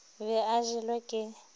o be a jelwe ke